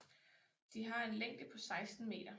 De har en længde på 16 meter